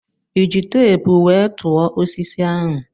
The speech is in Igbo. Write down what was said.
Ịji teepu wee tụọ osisi ahụ?